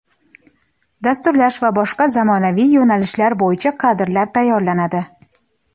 dasturlash va boshqa zamonaviy yoʼnalishlari boʼyicha kadrlar tayyorlanadi.